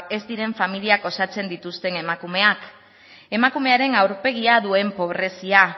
ez diren familia osatzen dituzten emakumeak emakumearen aurpegi duen pobrezia